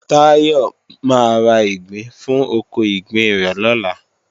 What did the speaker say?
Táyọ máa ra ìgbín fún oko ìgbín rẹ̀ lọ́la